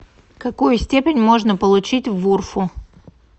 какую степень можно получить в урфу